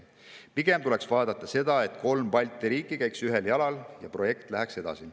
Pigem tuleks vaadata seda, et kolm Balti riiki käiks ühte jalga ja projekt läheks edasi.